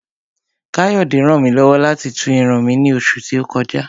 Káyọ̀dé ràn mí lọ́wọ́ láti tú irun mi ní oṣù tí ó kọjá